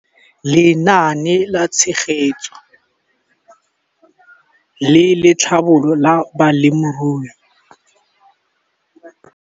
Lenaane la Tshegetso le Tlhabololo ya Balemirui.